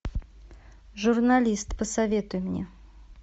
журналист посоветуй мне